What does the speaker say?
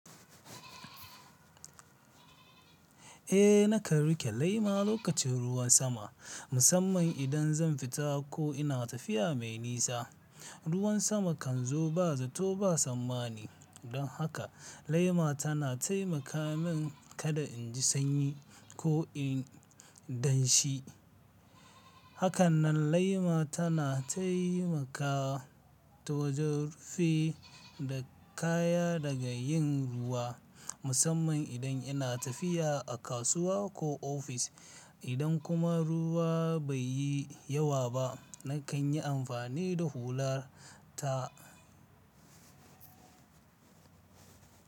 Eh, na kan riƙe lema lokacin ruwan sama, musamman idan zan fita ko ina tafiya mai nisa. Ruwan sama kan zo ba zato ba samma'ni, don haka lema tana taimaka min kada in ji sanyi ko in danshi. Hakanan lema tana taimaka ta wajen rufe da kaya daga yin ruwa musamman idan ina tafiya a kasuwa ko ofis. Idan kuma ruwa bai yi yawa ba, na kan yi amfani da hular ta.